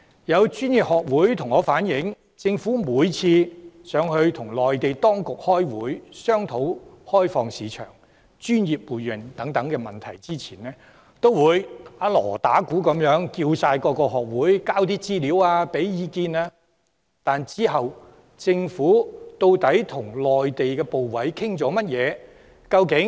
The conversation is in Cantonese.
有專業學會向我反映，政府每次前往內地與內地當局開會商討開放市場、專業互認等問題前，均會"打鑼打鼓"，邀請各學會提供資料和意見，但其後政府究竟與內地的部委討論了甚麼？